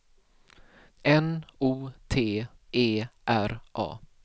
N O T E R A